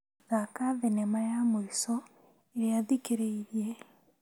Thaka thinema ya mũico ĩrĩa thikĩrĩirie.